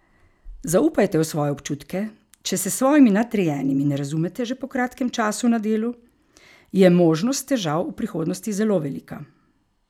Zaupajte v svoje občutke, če se s svojimi nadrejenimi ne razumete že po kratkem času na delu, je možnost težav v prihodnosti zelo velika.